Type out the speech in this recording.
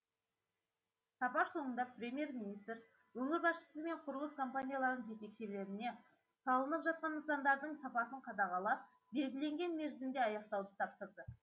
сапар соңында премьер министр өңір басшысы мен құрылыс компанияларының жетекшілеріне салынып жатқан нысандардың сапасын қадағалап белгіленген мерзімде аяқтауды тапсырды